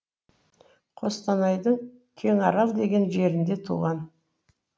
қостанайдың кеңарал деген жерінде туған